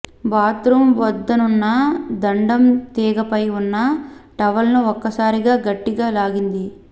bathroom వద్దనున్న దండెం తీగపై ఉన్న టవల్ను ఒక్కసారిగా గట్టిగా లాగింది